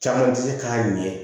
Caman tɛ se k'a ɲɛ